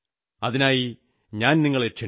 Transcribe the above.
അതിനായി ഞാൻ നിങ്ങളെ ക്ഷണിക്കുന്നു